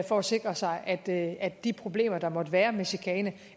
for at sikre sig at at de problemer der måtte være med chikane